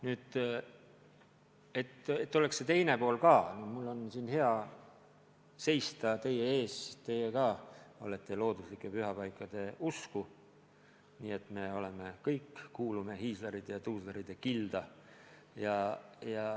Nüüd, et oleks see teine pool ka esindatud: mul on siin hea teie ees seista, teie ka olete looduslike pühapaikade usku, nii et me kõik kuulume hiislarite ja tuuslarite kilda.